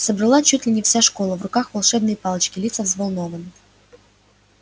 собралась чуть ли не вся школа в руках волшебные палочки лица взволнованны